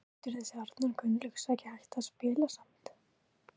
Getur þessi Arnar Gunnlaugs ekki hætt að spila samt?